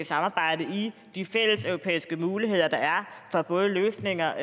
samarbejde i de fælleseuropæiske muligheder der er for både løsninger